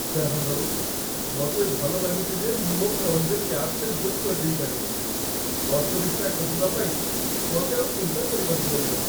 ଯାହାହଉ, ମତେ ଭଲ ଲାଗୁଚି ଯେ ମୁଁ ମୋ' ଫୋନ୍‌ରେ କ୍ୟାବ୍‌ଟେ ବୁକ୍ କରିଦେଇପାରିବି । ଅଟୋ ରିକ୍ସା ଖୋଜିବା ପାଇଁ ମତେ ଆଉ ଚିନ୍ତା କରିବାକୁ ପଡ଼ିବନି ।